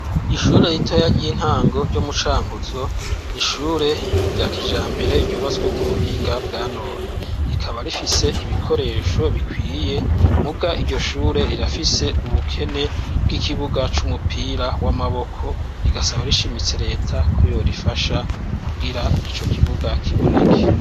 Ishure ritoya ry'intango ryo mu Cankuzo, ni ishure rya kijambere ryubatswe ku buhinga bwa none rikaba rifise ibikoresho bikwiye muga iryo shure rirafise ubukene bw'ikibuga c'umupira w'amaboko rigasaba rishimitse leta ko yorifasha kugira ico kibuga kiboneke.